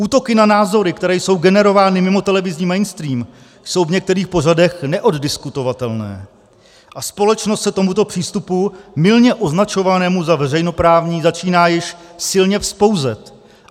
Útoky na názory, které jsou generovány mimo televizní mainstream, jsou v některých pořadech neoddiskutovatelné a společnost se tomuto přístupu, mylně označovanému za veřejnoprávní, začíná již silně vzpouzet.